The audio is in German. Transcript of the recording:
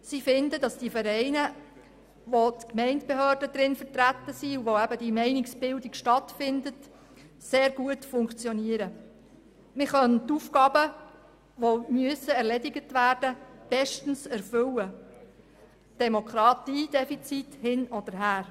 Sie finden, dass die Vereine, in denen die Gemeindebehörden vertreten sind und in welchen die Meinungsbildung stattfindet, sehr gut funktionieren und man die Aufgaben bestens erfüllen könne, Demokratiedefizit hin oder her.